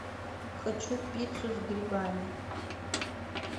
хочу пиццу с грибами